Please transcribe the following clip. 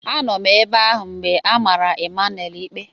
Anọ m ebe ahụ mgbe a mara Emmanuel ikpe.